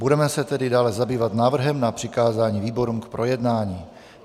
Budeme se tedy dále zabývat návrhem na přikázání výborům k projednání.